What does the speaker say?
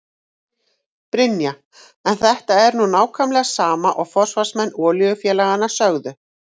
Brynja: En þetta er nú nákvæmlega sama og forsvarsmenn olíufélaganna sögðu?